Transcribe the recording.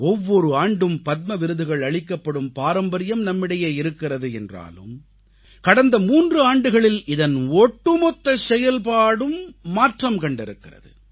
ஒவ்வொரு ஆண்டும் பத்ம விருதுகள் அளிக்கப்படும் பாரம்பரியம் நம்மிடையே இருக்கிறது என்றாலும் கடந்த 3 ஆண்டுகளில் இதன் ஒட்டுமொத்த செயல்பாடும் மாற்றம் கண்டிருக்கிறது